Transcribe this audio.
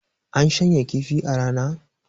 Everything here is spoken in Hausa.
an shanya kifi a Rana